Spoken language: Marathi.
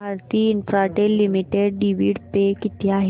Bharti Infratel limited dividend pay किती आहे